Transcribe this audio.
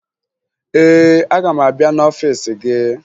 Ee, aga m abịa n'ọfiisi gị